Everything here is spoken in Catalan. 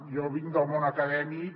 jo vinc del món acadèmic